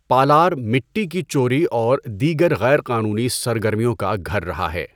پالار مٹی کی چوری اور دیگر غیر قانونی سرگرمیوں کا گھر رہا ہے۔